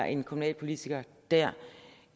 en kommunalpolitiker dér